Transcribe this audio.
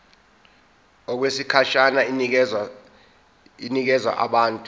okwesikhashana inikezwa abantu